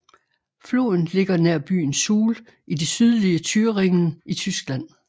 Floden ligger nær byen Suhl i det sydlige Thüringen i Tyskland